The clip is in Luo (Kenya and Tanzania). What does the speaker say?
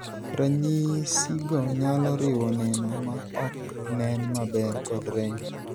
Ranyisigo nyalo riwo neno ma ok nen maber kod rem.